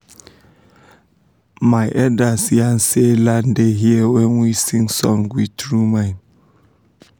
to sing about ground na how we fit show say e da try for us